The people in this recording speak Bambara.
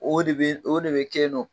O de be, o be de ke yen nɔn